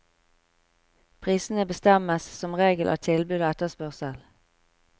Prisene bestemmes som regel av tilbud og etterspørsel.